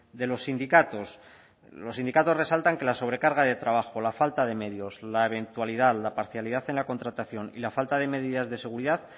de los sindicatos los sindicatos resaltan que la sobrecarga de trabajo la falta de medios la eventualidad la parcialidad en la contratación y la falta de medidas de seguridad